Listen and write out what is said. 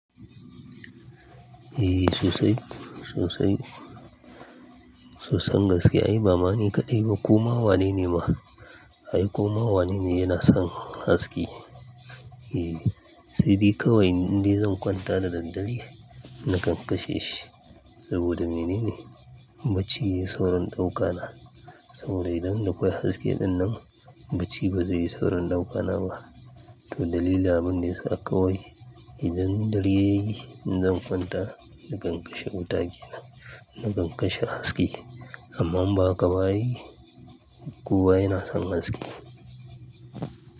Eh sosai, sosai. So san gaskiya, ai bamani kaɗai koma wane ne ma? Ai koma wane ne yana son haske? E, sai de kawai ni zan kwanta da daddare na kankasheshi saboda mene ne? Bacci ya yi saurin ɗaukana. Sauro idan na koya haske dinnan bacci ba zai yi saurin ɗaukana ba. To dalili abin ne suka kawo yi. Idan dare yayi, zan kwanta na kankashe wuta ke nan, na kankashe haske. Amma ba ka bari, ku waye na san haske.